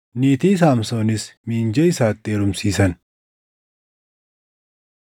Niitii Saamsoonis miinjee isaatti heerumsiisan.